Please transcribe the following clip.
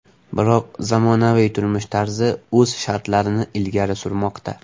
Biroq zamonaviy turmush tarzi o‘z shartlarini ilgari surmoqda.